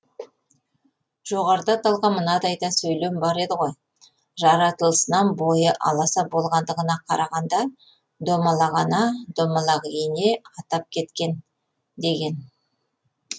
жоғарыда аталған мынадай да сөйлем бар еді ғой жаратылысынан бойы аласа болғандығына қарағанда домалақ ана домалақ ене атап кеткен деген